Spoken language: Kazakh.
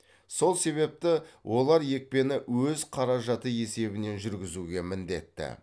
сол себепті олар екпені өз қаражаты есебінен жүргізуге міндетті